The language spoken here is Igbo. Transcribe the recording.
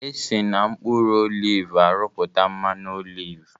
Esi n'mkpuru olivu arụpụta mmanụ olivu